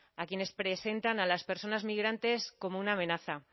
a quienes presentan a las personas migrantes como una amenaza